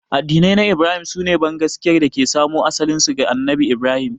Addinai na Ibrahim su ne bangaskiyar da ke samo asalinsu ga Annabi Ibrahim.